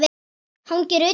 Hangir utan á þér!